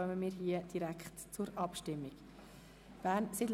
– Das ist auch nicht der Fall.